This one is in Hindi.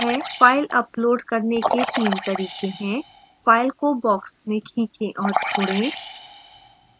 फ़ाइल upload करने के 3 तरीके हैं: फ़ाइल को box में खींचें और छोड़ें